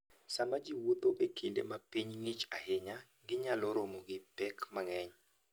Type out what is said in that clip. Sama ji wuotho e kinde ma piny ng'ich ahinya, ginyalo romo gi pek mang'eny.